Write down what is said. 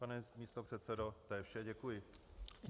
Pane místopředsedo, to je vše, děkuji.